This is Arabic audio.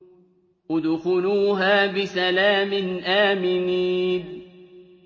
ادْخُلُوهَا بِسَلَامٍ آمِنِينَ